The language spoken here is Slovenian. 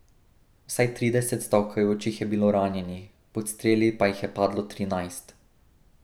Vsaj trideset stavkajočih je bilo ranjenih, pod streli pa jih je padlo trinajst.